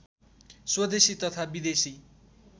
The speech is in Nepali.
स्वदेशी तथा विदेशी